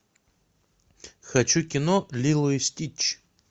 хочу кино лило и стич